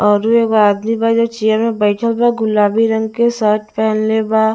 औरु एगो आदमी बा जे चैर में बैठल बा गुलाबी रंग शट पेनहले बा--